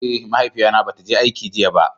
Eh, mahaifiya na bata je aiki jiya ba.